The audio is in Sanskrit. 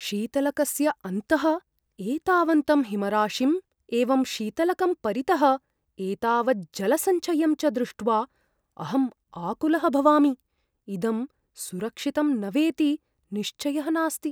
शीतलकस्य अन्तः एतावन्तं हिमराशिम् एवं शीतलकं परितः एतावज्जलसञ्चयं च दृष्ट्वा अहम् आकुलः भवामि; इदं सुरक्षितं न वेति निश्चयः नास्ति।